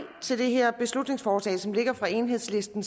til det her beslutningsforslag som ligger fra enhedslisten